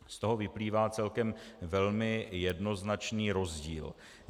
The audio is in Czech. Z toho vyplývá celkem velmi jednoznačný rozdíl.